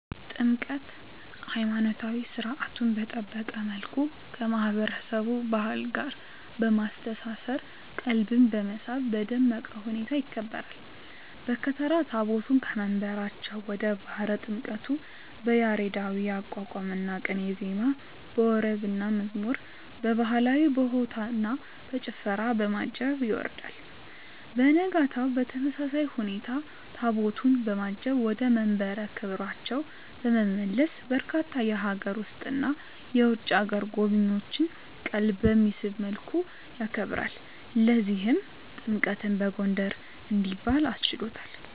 ጥምቀት!! ሀይማኖታዊ ሰርዓቱን በጠበቀ መልኩ ከማህበረሰቡ ባህል ጋር በማስተሳሰር ቀልብን በመሳብ በደመቀ ሁኔታ ይከበራል። በከተራ ታቦታቱን ከየመንበራቸው ወደ ባህረ ጥምቀቱ በያሬዳዊ የአቋቋምና ቅኔ ዜማ፣ በወረብና መዝሙር፣ በባህላዊ በሆታና በጭፈራ፣ በማጀብ ያወርዳል። በነጋታው በተመሳሳይ ሁኔታ ታቦታቱን በማጀብ ወደ መንበረ ክብራቸው በመመለስ በርካታ የሀገር ውስጥና የውጭ አገር ጎብኚዎችን ቀልብ በሚስብ መልኩ ያከብራል። ለዚህም ጥምቀትን በጎንደር እንዲባል አስችሎታል!!